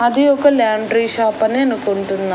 అది ఒక laundry shop అని అనుకుంటున్నా.